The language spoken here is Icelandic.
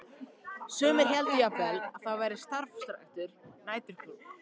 Sumir héldu jafnvel að þar væri starfræktur næturklúbbur.